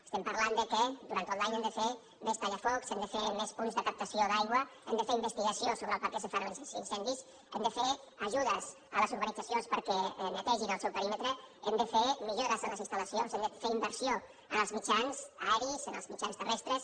es·tem parlant del fet que durant tot l’any hem de fer més tallafocs hem de fer més punts de captació d’aigua hem de fer investigació sobre per què se fan els in·cendis hem de fer ajudes a les urbanitzacions perquè netegin el seu perímetre hem de fer millores en les instal·lacions hem de fer inversió en els mitjans aeris en els mitjans terrestres